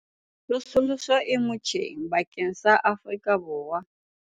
Tsosoloso e motjheng bakeng sa Afrika Borwa